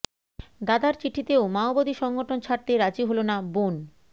দাদার চিঠিতেও মাওবাদী সংগঠন ছাড়তে রাজি হল না বোন